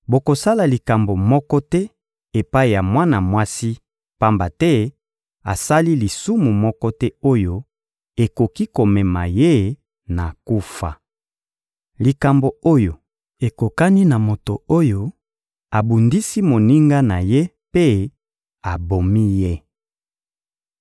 Bokosala likambo moko te epai ya mwana mwasi, pamba te asali lisumu moko te oyo ekoki komema ye na kufa. Likambo oyo ekokani na moto oyo abundisi moninga na ye mpe abomi ye.